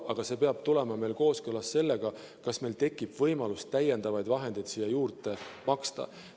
Aga see peab olema kooskõlas sellega, kas meil tekib võimalus täiendavaid vahendeid juurde maksta.